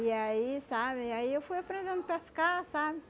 E aí, sabe, aí eu fui aprendendo pescar, sabe?